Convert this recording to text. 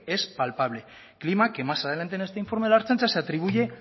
es papable clima que más adelante en este informe de ertzaintza se atribuye